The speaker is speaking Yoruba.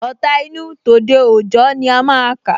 Ọ̀ta inú, tòde òjọ ni a máa kà